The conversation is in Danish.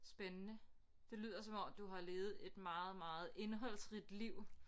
Spændende det lyder som om du har levet et meget meget indholdsrigt liv